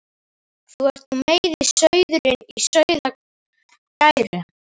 Þú ert nú meiri sauðurinn í sauðargæru.